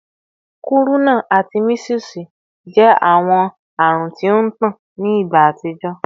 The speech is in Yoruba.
Kuruna ati measles jẹ awọn arun ti o ntan ni igba atijọ